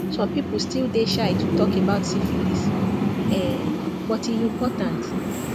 some people still dey shy to talk about syphilis um but e important